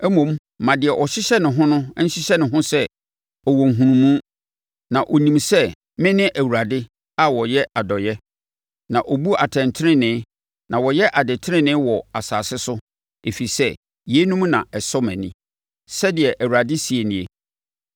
Mmom ma deɛ ɔhyehyɛ ne ho nhyehyɛ ne ho sɛ ɔwɔ nhunumu, na ɔnim sɛ, me ne Awurade a ɔyɛ adɔeɛ, na ɔbu atɛntenenee na ɔyɛ adetenenee wɔ asase so ɛfiri sɛ yeinom na ɛsɔ mʼani,” sɛdeɛ Awurade seɛ nie.